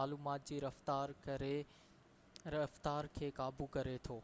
معلومات جي رفتار کي قابو ڪري ٿو